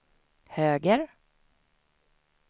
höger